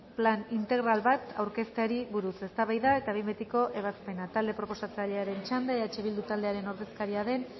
plan integral bat aurkezteari buruz eztabaida eta behin betiko ebazpena talde proposatzailearen txanda eh bildu taldearen ordezkaria den